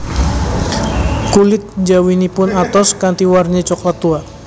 Kulit njawinipun atos kanthi warni coklat tua